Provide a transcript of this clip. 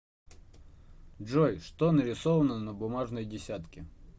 джой что нарисовано на бумажной десятке